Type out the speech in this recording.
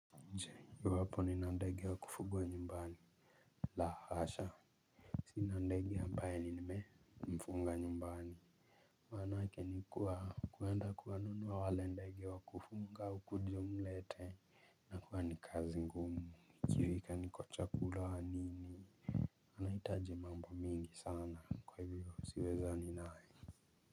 Je, iwapo nina ndege wa kufugwa nyumbani la hasha sina ndege ambaye nimemfunga nyumbani manake ni kuwa kuenda kuwanunua wale ndege wa kufuga ukuje umlete inakuwa ni kazi ngumu ikiwika ni kwa chakula nini anahitaji mambo mingi sana kwa hivyo siwezani naye.